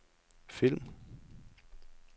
film